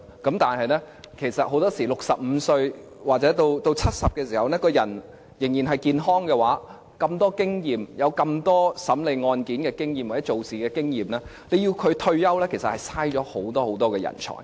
如果法官到了65歲或是70歲的時候，人仍然健康的話，又擁有如此多審理案件經驗或工作經驗，要求他們退休其實是浪費了人才。